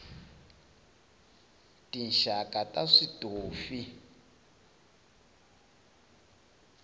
tinxaka ta switofi